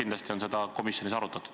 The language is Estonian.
Küllap on seda komisjonis arutatud.